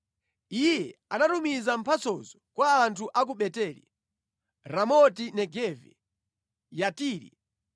Iye anatumiza mphatsozo kwa anthu a ku Beteli, Ramoti-Negavi, Yatiri,